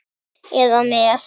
eða með